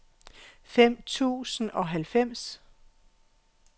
fem tusind og halvfems